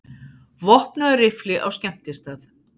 Vopnaður riffli á skemmtistað